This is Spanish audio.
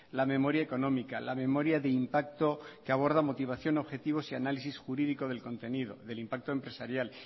la memoria económica la memoria de impacto que aborda motivación objetivo y análisis jurídico del contenido del impacto empresarial